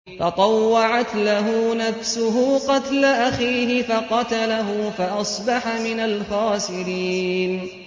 فَطَوَّعَتْ لَهُ نَفْسُهُ قَتْلَ أَخِيهِ فَقَتَلَهُ فَأَصْبَحَ مِنَ الْخَاسِرِينَ